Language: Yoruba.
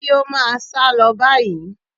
Kí ó máa sálọ báyìí.